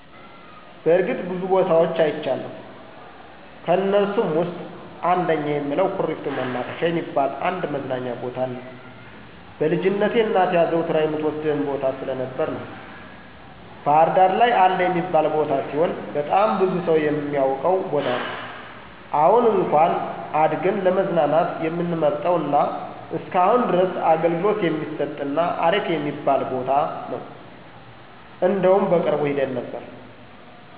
በርግጥ ብዙ ቦታወች አይቻለሁ። ከእነሱም ውስጥ አንደኛ የምለው ኩሪፍቱ መናፈሻ የሚባል አንድ መዝናኛ ቦታን ነው። በልጅነቴ እናቴ አዘውትራ የምትወስደን ቦታ ስለነበረ ነው። ባህርዳር ላይ አለ የሚባል ቦታ ሲሆን በጣም ብዙ ሰው የሚያውቀው ቦታ ነው። አሁን እንኩአን አድገን ለመዝናናት የምንመርጠው እና እስከአሁን ድረስ አገልግሎት የሚሰጥ እና አሪፍ የሚባል ቦታ ነው። እንደውም በቅርቡ ሄደን ነበር።